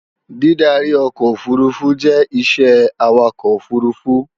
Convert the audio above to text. Dídarí ọkọ̀ òfurufú jẹ́ isẹ́ Awakọ̀ òfurufú